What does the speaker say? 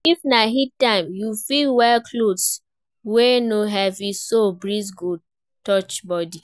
If na heat time, you fit wear cloth wey no heavy so breeze go touch body